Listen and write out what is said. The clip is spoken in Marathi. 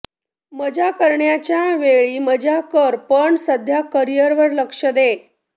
मजा करण्याच्या वेळी मजा कर पण सध्या करिअर वर लक्ष दे